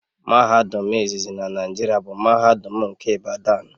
Mahadum izizi na Naijiria bụ mahadum nke Ibadan